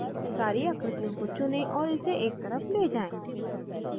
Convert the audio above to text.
सारी आकृतियों को चुनें और इसे एक तरफ ले जाएँ